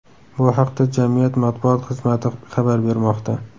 Bu haqda jamiyat matbuot xizmati xabar bermoqda .